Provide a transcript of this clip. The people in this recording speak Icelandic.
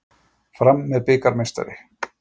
Fram er bikarmeistari